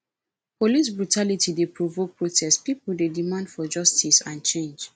police brutality dey provoke protest pipo dey demand for justice and change